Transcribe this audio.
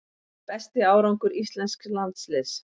Besti árangur íslensks landsliðs